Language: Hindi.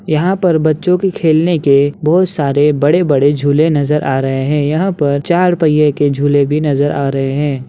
यहाँ पर बच्चो के खेलने के बहुत सारे बड़े बड़े झूले नज़र आ रहे हैं यहाँ पर चार पहिए के झूले भी नज़र आ रहे हैं।